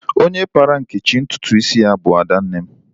Onye kpara Nkechi ntụtụ isi ya bu Adanne m.